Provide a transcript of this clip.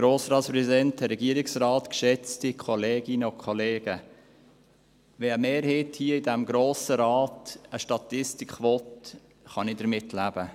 Wenn eine Mehrheit hier in diesem Grossen Rat eine Statistik will, kann ich damit leben.